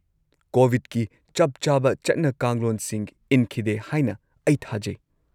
-ꯀꯣꯕꯤꯗꯀꯤ ꯆꯞꯆꯥꯕ ꯆꯠꯅ-ꯀꯥꯡꯂꯣꯟꯁꯤꯡ ꯏꯟꯈꯤꯗꯦ ꯍꯥꯏꯅ ꯑꯩ ꯊꯥꯖꯩ꯫